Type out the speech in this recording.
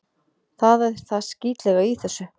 Það er það skítlega í þessu.